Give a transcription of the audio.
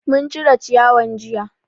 Mun cire ciyawan jiya